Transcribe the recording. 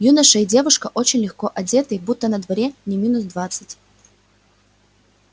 юноша и девушка очень легко одетые будто на дворе не минус двадцать